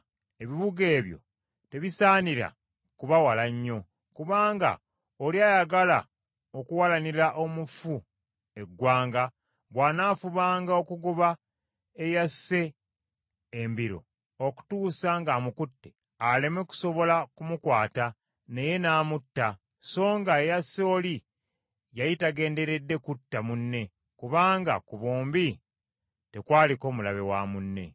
Ebibuga ebyo tebisaanira kuba wala nnyo, kubanga oli ayagala okuwalanira omufu eggwanga bw’anaafubanga okugoba eyasse embiro okutuusa ng’amukutte, aleme kusobola kumukwata, naye n’amutta, songa eyasse oli yali tagenderedde kutta munne, kubanga ku bombi tekwaliko mulabe wa munne.